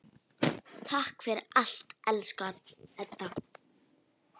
Takk fyrir allt, elsku Edda.